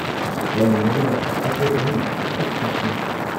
ꯂꯩꯃꯤꯟꯅꯔꯤꯕ ꯑꯩꯈꯣꯏ ꯑꯍꯨꯝ ꯁꯛ ꯇꯥꯛꯅꯩ ꯫